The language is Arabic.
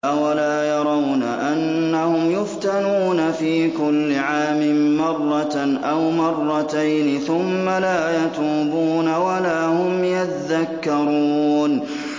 أَوَلَا يَرَوْنَ أَنَّهُمْ يُفْتَنُونَ فِي كُلِّ عَامٍ مَّرَّةً أَوْ مَرَّتَيْنِ ثُمَّ لَا يَتُوبُونَ وَلَا هُمْ يَذَّكَّرُونَ